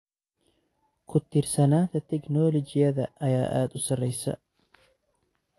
Ku-tiirsanaanta tignoolajiyada ayaa aad u sareysa.